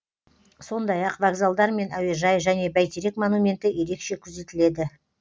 сондай ақ вокзалдар мен әуежай және бәйтерек монументі ерекше күзетіледі